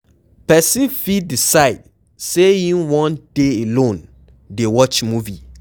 Person fit decide sey im wan dey alone dey watch movie